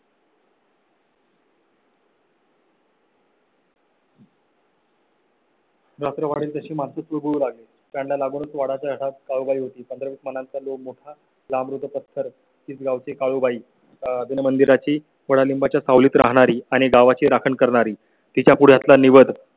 जात रा वाढेल तशी मासळी होती पंधरा म्हणालो, मोठा लाभ पत्थर गाव ची काळूबाई आहे. मंदिर ची थोडा लिंबा च्या सावलीत राहणारी आणि गावा ची राखण करणारी तिच्या पुढ्यातला निवद